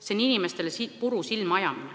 See on inimestele puru silma ajamine.